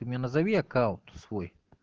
ты мне назови аккаунт свой